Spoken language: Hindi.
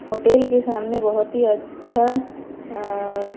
होटेल के सामने बहोत ही अच्छा अ--